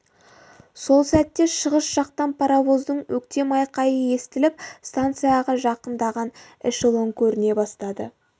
сол сәтте шығыс жақтан паровоздың өктем айқайы естіліп станцияға жақындаған эшелон көріне бастады